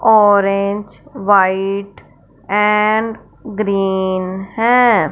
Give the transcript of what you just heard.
Orange white and green है।